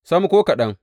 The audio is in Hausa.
Sam, ko kaɗan!